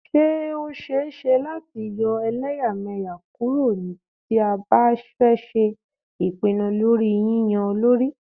Ṣé ó ṣẹ é ṣe láti yọ́ ẹlẹ́yàmẹyà kúrò tí a bá fẹ́ ṣe ìpinnu lórí yínyan olórí.